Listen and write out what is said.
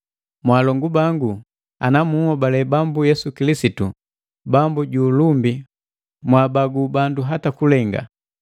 Mwaalongu bangu, ana munhobali Bambu Yesu Kilisitu, Bambu ju ulumbi mwaabagu bandu hata kulenga.